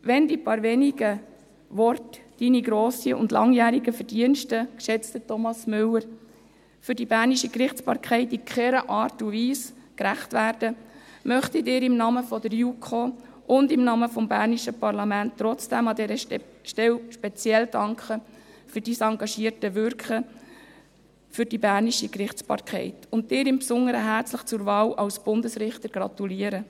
Auch wenn die paar wenigen Worte Ihren grossen und langjährigen Verdiensten, geschätzter Thomas Müller, für die bernische Gerichtsbarkeit in keiner Art und Weise gerecht werden, möchte ich Ihnen im Namen der JuKo und im Namen des bernischen Parlaments trotzdem an dieser Stelle speziell für Ihr engagiertes Wirken für die bernische Gerichtsbarkeit danken und Ihnen im Besonderen herzlich zur Wahl zum Bundesrichter gratulieren.